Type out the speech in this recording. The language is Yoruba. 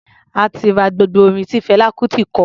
A ti ra gbogbo orin tí Fẹlá Kutì kọ.